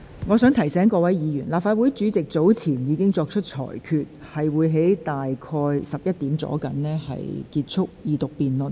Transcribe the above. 我提醒各位議員，立法會主席早前已作出裁決，將於上午11時左右結束二讀辯論。